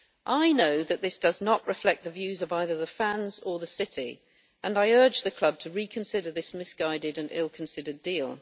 I know that this does not reflect the views of either the fans or the city, and I urge the club to reconsider this misguided and ill considered deal.